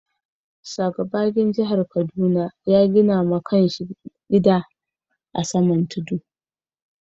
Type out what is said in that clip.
Sa. Gbagyin jihar Kaduna ya gina ma kan shi gida a'saman tudun.